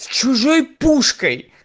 чужой пушка